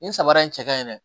Nin samara in cɛ ka ɲi dɛ